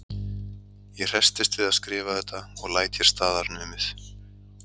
Ég hressist við að skrifa þetta og læt hér staðar numið.